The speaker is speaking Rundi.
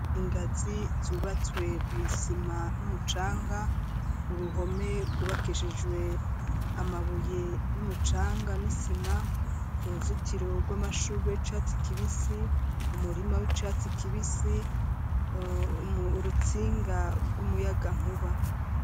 Ingazi zubatswe mw'isima numucanga uruhome gw'ubakishijwe amabuye n'umucanga n'isima uruzitiro rw'amashure icatsi kibisi umurima w'icatsi kibisi urutsinga rw'umuyaga nkuba.